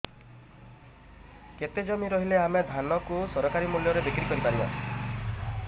କେତେ ଜମି ରହିଲେ ଆମେ ଧାନ କୁ ସରକାରୀ ମୂଲ୍ଯରେ ବିକ୍ରି କରିପାରିବା